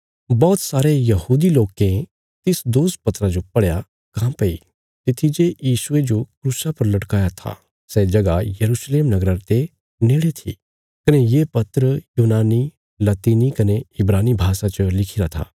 बौहत सारे यहूदी लोकें तिस दोष पत्रा जो पढ़या काँह्भई तित्थी जे यीशुये जो क्रूसा पर लटकाया था सै जगह यरूशलेम नगरा ते नेड़े थी कने ये पत्र यूनानी लतीनी कने इब्रानी भाषा च लिखिरा था